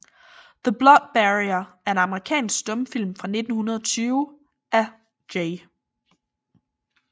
The Blood Barrier er en amerikansk stumfilm fra 1920 af J